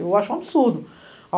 Eu acho um absurdo.